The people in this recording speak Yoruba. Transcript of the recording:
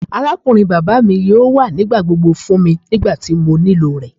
Arakunrin baba mi yoo wa nigbagbogbo fun mi nigbati mo nilo rẹ.